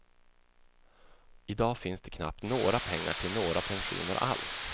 I dag finns det knappt några pengar till några pensioner alls.